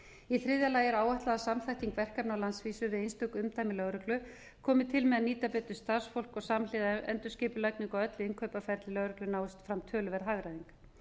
í þriðja lagi er áætlað að samþætting verkefna á landsvísu í einstökum umdæmum lögreglu komi til með að nýta betur starfsfólk og samhliða endurskipulagningu á öllu innkaupaferli lögreglu náist fram töluverð hagræðing